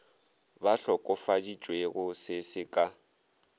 ba hlokofaditšwego se se ka